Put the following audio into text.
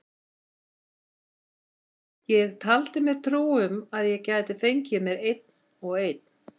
Ég taldi mér trú um að ég gæti fengið mér einn og einn.